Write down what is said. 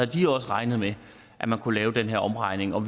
de også regnet med at man kunne lave den her omregning og